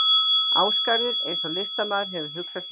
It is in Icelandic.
Ásgarður eins og listamaður hefur hugsað sér hann.